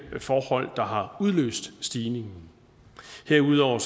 forhold der har udløst stigningen herudover